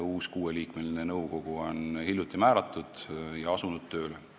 Uus kuueliikmeline nõukogu on hiljuti määratud ja on asunud tööle.